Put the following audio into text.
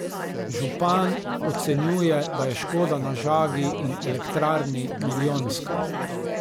Župan ocenjuje, da je škoda na žagi in elektrarni milijonska.